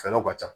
Fɛɛrɛw ka ca